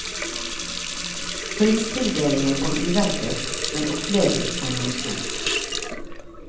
Pristildelingen kom uventet, men oppleves som noe stort.